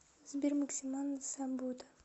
сбер мексиканцам суббота